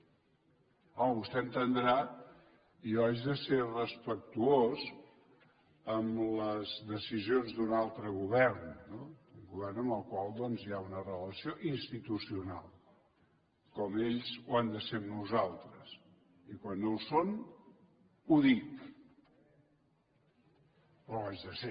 home vostè entendrà jo hagi de ser respectuós amb les decisions d’un altre govern no un govern amb el qual doncs hi ha una relació institucional com ells ho han de ser amb nosaltres i quan no ho són ho dic però ho haig de ser